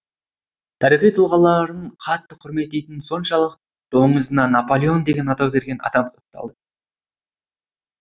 тарихи тұлғаларын қатты құрметтейтіні соншалық доңызына напалеон деген атау берген адам сотталды